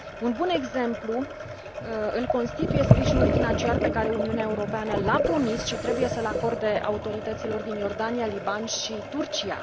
Un bun exemplu îl constituie sprijinul financiar pe care Uniunea Europeană l a promis și trebuie să l acorde autorităților din Iordania, Liban și Turcia.